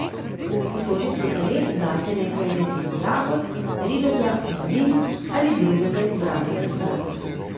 V posodico za led dajte nekaj rezin jagod, ribeza, malin ali drugega izbranega sadja.